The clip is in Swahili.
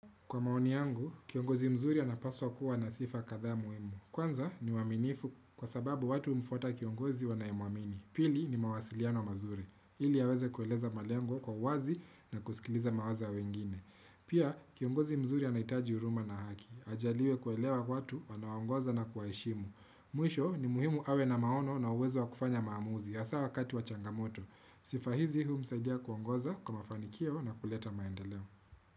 Kwa maoni yangu, kiongozi mzuri anapaswa kuwa na sifa kathaa muhimu. Kwanza ni aaminifu kwa sababu watu mfuata kiongozi wanaye muamini. Pili ni mawasiliano mazuri. Hili yaweze kueleza mali yangu kwa wazi na kusikiliza mawaza wengine. Pia, kiongozi mzuri anaitaji uruma na haki. Ajaliwe kuelewa watu wana anaogoza na kuwaheshimu. Mwisho ni muhimu awe na maono na uwezo wa kufanya maamuzi hasa wakati wa changamoto. Sifa hizi huu msaidia kuongoza kwa mafanikio na kuleta maendeleo.